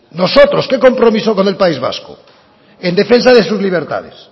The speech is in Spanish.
nosotros qué compromiso con el país vasco en defensa de sus libertades